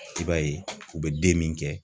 I b'a ye u bɛ den min kɛ